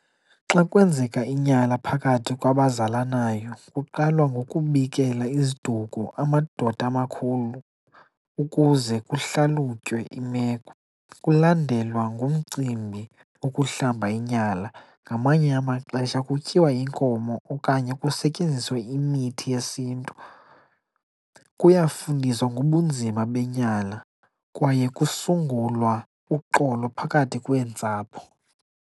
Xa kwenzeka inyala phakathi kwabazalanayo kuqalwa ngokubikela iziduko, amadoda amakhulu, ukuze kuhlalutywe imeko. Kulandelwa ngumcimbi ukuhlamba inyala. Ngamanye amaxesha kutyiwa inkomo okanye kusetyenziswe imithi yesiNtu. Kuyafundiswa ngobunzima benyala kwaye kusungulwa uxolo phakathi kweentsapho.